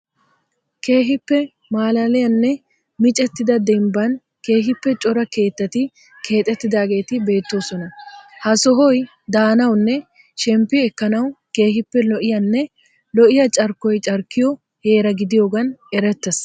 Keehippe maalaliyanne micettida demibban keehippe cora keettati keexettidageeti beettoosona. Ha sohoyi daanawunne shemppi ekkanawu keehippe lo'iyanne lo'iya carikkoy carikkiyo heera gidiyogaan erettees.